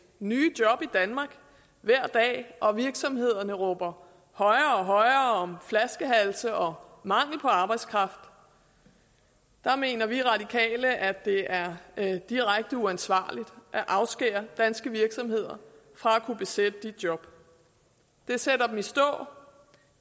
nye job i danmark hver dag og virksomhederne råber højere og højere om flaskehalse og mangel på arbejdskraft mener vi radikale at det er er direkte uansvarligt at afskære danske virksomheder fra at kunne besætte de job det sætter dem i stå eller